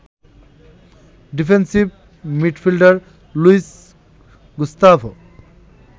defensive midfielder Luis Gustavo